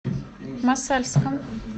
мосальском